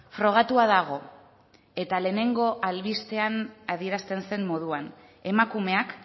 frogatua dago eta lehenengo albistean adierazten zen moduan emakumeak